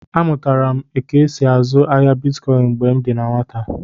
A mụtara m ka e sị azụ ahịa Bịtkọin mgbè m dị na nwata